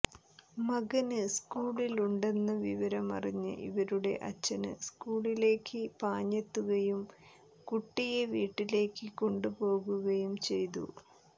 മകന് സ്കൂളിലുണ്ടെന്ന വിവരം അറിഞ്ഞ് ഇവരുടെ അച്ഛന് സ്കൂളിലേയ്ക്ക് പാഞ്ഞെത്തുകയും കുട്ടിയെ വീട്ടിലേക്ക് കൊണ്ടുപോകുകയും ചെയ്തു